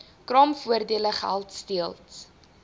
kraamvoordele geld steeds